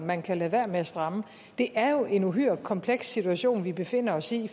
man kan lade være med at stramme det er jo en uhyre kompleks situation vi befinder os i